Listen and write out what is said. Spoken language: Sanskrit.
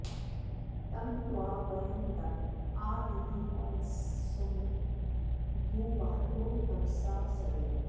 तं त्वा॑ व॒यं दम॒ आ दी॑दि॒वांस॒मुप॑ ज्ञु॒बाधो॒ नम॑सा सदेम